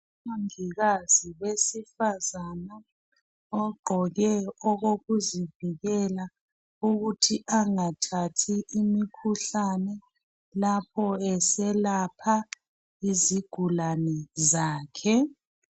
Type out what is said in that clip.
Umongikazi owesifazana ogqoke okokuzivikela ukuthi angathathi imikhuhlane lapho eselapha izigulane zakhe.